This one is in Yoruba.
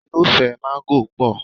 Irúfẹ́ mángó pọ̀.